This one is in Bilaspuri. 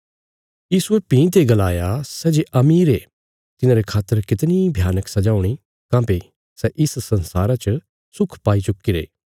यीशुये भीं ते गलाया सै जे अमीर ये तिन्हांरे खातर कितणी भयानक सजा हूणी काँह्भई सै इस संसारा च सुख पाई चुक्कीरे